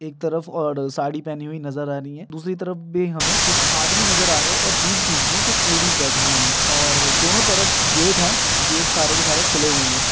एक तरफ और साड़ी पहनी हुई नजर आ रही है दूसरी तरफ भी हमें कुछ आदमी नजर आ रहे है और बीच-बीच में कुछ लेडिस बैठी हुई है और दोनों तरफ गेट है गेट सारे के सारे खुले हुए है।